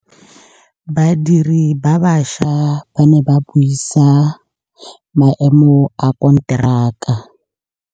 Badiri ba baša ba ne ba buisa maêmô a konteraka.